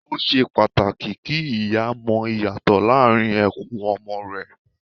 Ó ṣe pàtàkì kí ìyá mọ ìyàtọ̀ láàrín ẹkún ọmọ rẹ